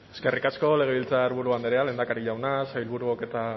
eskerrik asko legebiltzarburu andrea lehendakari jauna sailburuok eta